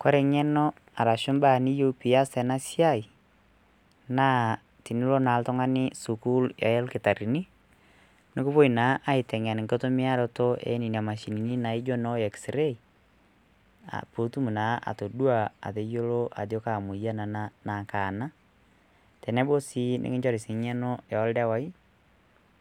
kore ng'eno arashu imbaa niyieu peiyas ena siai naa tenilo naa oltung'ani sukul elkitarrini nukupuoi naa aiteng'en nkitumiaroto ienina mashinini naijo ino x-ray putum naa atodua ateyiolo ajo kaa moyian ena naa kaa ena tenebau sii nikinchori sii ng'eno eoldewai